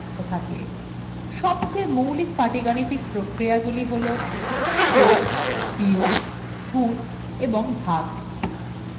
সবচেয়ে মৌলিক পাটীগাণিতিক প্রক্রিয়া গুলি হলযোগ বিয়োগ গুণ ও ভাগ